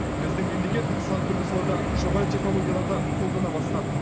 біздің мемлекет сан түрлі салада жоғары технологияларды қолдана бастады